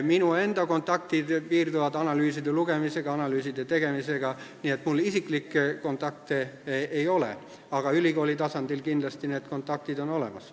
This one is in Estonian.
Minu enda kontaktid piirduvad analüüside lugemise ja analüüside tegemisega, nii et mul isiklikke kontakte ei ole, aga ülikooli tasandil on need kindlasti olemas.